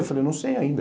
Eu falei, não sei ainda.